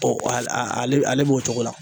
al a ale b ale b'o cogo la.